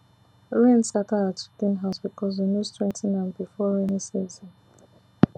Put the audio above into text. rain scatter our chicken house because we no strengthen am before rainy season